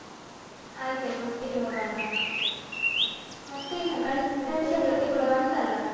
ಆಯ್ತಾಯ್ತು ಒಟ್ಟಿಗೆ ಹೋಗೋಣ. ಮತ್ತೆ ಚತುರ್ಥಿ ಕೂಡ ಬಂತಲ್ಲಾ?